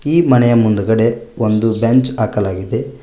ಈ ಮನೆಯ ಮುಂದುಗಡೆ ಒಂದು ಬೆಂಚ್ ಹಾಕಲಾಗಿದೆ.